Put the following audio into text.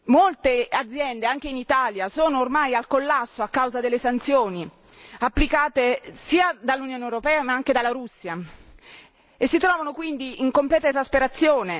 Molte aziende, anche in Italia sono ormai al collasso a causa delle sanzioni applicate sia dall'Unione europea, ma anche dalla Russia, e si trovano quindi in completa esasperazione.